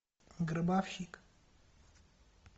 гробовщик